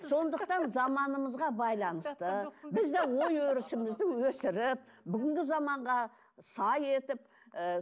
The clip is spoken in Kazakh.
сондықтан заманымызға байланысты біз де ой өрісімізді өсіріп бүгінгі заманға сай етіп ы